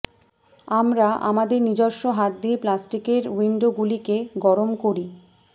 আমরা আমাদের নিজস্ব হাত দিয়ে প্লাস্টিকের উইন্ডোগুলিকে গরম করি